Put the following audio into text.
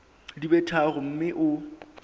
di be tharo mme o